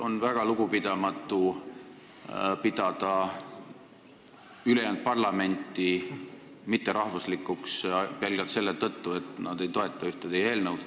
On väga lugupidamatu pidada ülejäänud parlamenti mitterahvuslikuks pelgalt selle tõttu, et nad ei toeta ühte teie eelnõu.